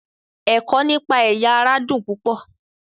Ẹ̀kọ́ nípa ẹ̀yà-ara dùn púpọ̀.